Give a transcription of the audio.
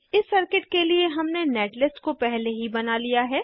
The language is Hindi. इस सर्किट के लिए हमने नेटलिस्ट को पहले ही बना लिया है